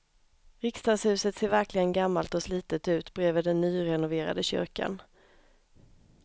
Riksdagshuset ser verkligen gammalt och slitet ut bredvid den nyrenoverade kyrkan.